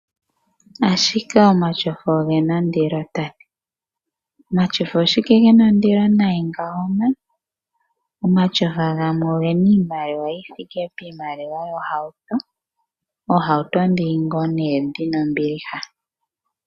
Ashike omatyofa oge na ondilo? Omatyofa omolwashike ge na ondilo nayi ngawo? Omatyofa gamwe ohaga kotha iimaliwa yi thike piimaliwa yokulanda ohauto. Oohauto ndhi ngaa dhi na ombiliha.